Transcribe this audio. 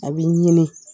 A b'i ɲini